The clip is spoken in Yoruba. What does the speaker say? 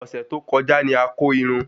Ọsẹ tó kọjá ní a kò Irún